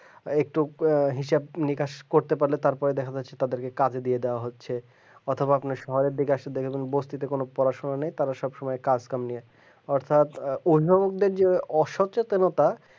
আরেকটু হিসাব বিকাশ করতে পারলে তারপর দেখা যাচ্ছে তাদেরকে কাজও দিয়ে দেওয়া হচ্ছে অথবা তোমার শহরের দিকে মানে বস্তিতে কোন পড়াশোনা নেই তারা সবসময় কাজ করে অর্থাৎ উদ্ভাবকদের মধ্যে যে অচেতনতা